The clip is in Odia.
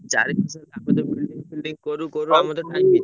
ଚାରି ମାସ ତା ଭିତରେ building ଫିଲଡିଙ୍ଗ କରୁ କରୁ।